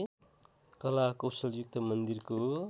कला कौशलयुक्त मन्दिरको